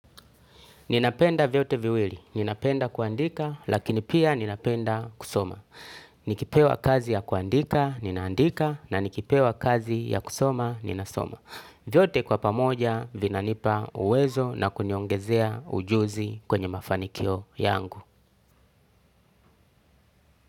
Ninapenda vyote viwili, ninapenda kuandika, lakini pia ninapenda kusoma. Nikipewa kazi ya kuandika, ninaandika, na nikipewa kazi ya kusoma, ninasoma. Vyote kwa pamoja, vinanipa uwezo na kuniongezea ujuzi kwenye mafanikio yangu.